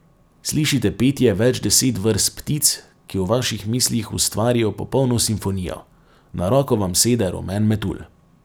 Slišite petje več deset vrst ptic, ki v vaših mislih ustvarijo popolno simfonijo, na roko vam sede rumen metulj.